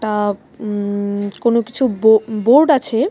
এটা উম-কোন কিছু বো-বোর্ড আছে।